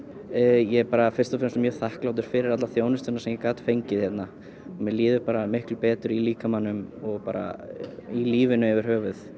ég er fyrst og fremst mjög þakklátur fyrir alla þjónustuna sem ég gat fengið hérna mér líður miklu betur í líkamanum og í lífinu yfir höfuð